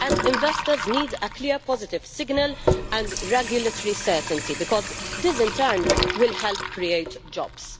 Investors need a clear and positive signal and regulatory certainty, because this in turn will help create jobs.